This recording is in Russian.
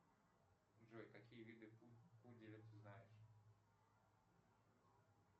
джой какие виды пуделя ты знаешь